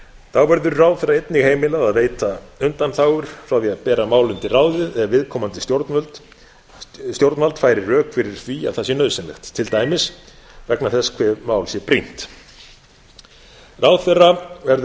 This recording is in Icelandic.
þá verður ráðherra einnig heimilað að veita undanþágur frá því að bera mál undir ráðið ef viðkomandi stjórnvald færir rök fyrir því að það sé nauðsynlegt til dæmis vegna þess hve mál sé brýnt ráðherra verður